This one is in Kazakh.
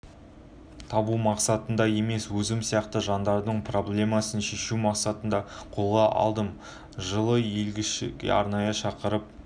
табу мақсатында емес өзім сияқты жандардың проблемасын шешу мақсатында қолға алдым жылы елшілігі арнайы шақырып